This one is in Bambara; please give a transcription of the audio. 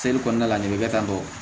kɔnɔna la ne bɛ tantɔ